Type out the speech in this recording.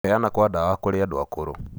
kũheana kwa dawa kũrĩ andũ akũrũ.